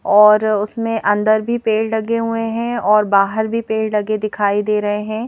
और उसमें अंदर भी पेड़ लगे हुए हैं और बाहर भी पेड़ लगे दिखाई दे रहे हैं।